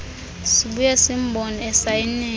sibuya simbone esayinela